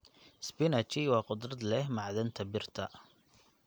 Spinachi waa khudrad leh macdanada birta.